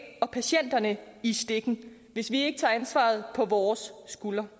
og patienterne i stikken hvis vi ikke tager ansvaret på vores skuldre